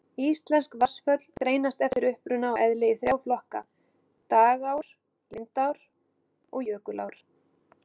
Íslensk vatnsföll greinast eftir uppruna og eðli í þrjá flokka: dragár, lindár og jökulár.